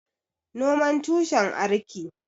Noman tushen arki